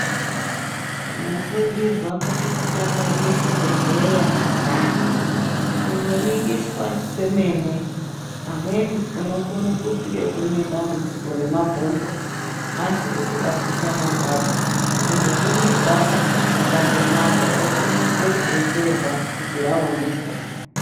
Tinosungirwa kuti tidakarire chibhedhleya anhtani kundoningiswa kwemene amweni unokone kunge une dambudziko remabonzo asi usingazwi panorwadza kundoningirwakwo kwakandonaka wokurumidza kudetserwa kuti raoneka.